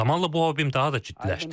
Zamanla bu hobim daha da ciddiləşdi.